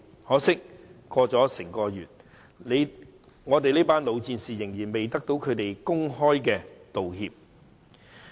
可惜，整個月過去了，一群老戰士仍然未得到他們的公開道歉。